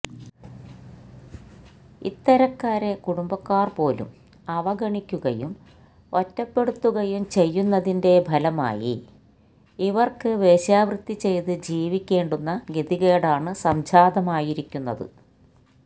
ഇത്തരക്കാരെ കുടുംബക്കാര് പോലും അവഗണിക്കുകയും ഒറ്റപ്പെടുത്തുകയും ചെയ്യുന്നതിന്റെ ഫലമായി ഇവര്ക്ക് വേശ്യാവൃത്തി ചെയ്ത് ജീവിയ്ക്കേണ്ടുന്ന ഗതികേടാണ് സംജാതമായിരിക്കുന്നത്